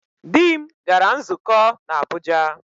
Di m gara nzukọ n'Abụja.